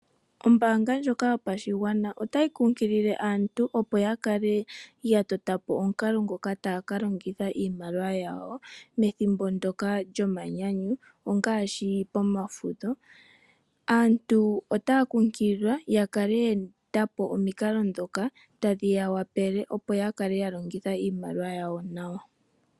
Ombaanga ndjoka yopashigwana otayi kunkilile aantu opo ya kale yatota po omukalo ngoka taya ka longitha iimaliwa yawo methimbo ndoka lyomanyanyu ongaashi pomafudho, aantu otaya kunkililwa ya kale yeetapo omikalo dhoka tadhi ya wapele opo yakale ya longitha iimaliwa yawo nawa.